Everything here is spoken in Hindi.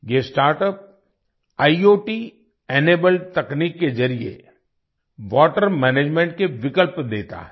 ये स्टार्टअप आईओटी इनेबल्ड तकनीक के जरिए वाटर मैनेजमेंट के विकल्प देता है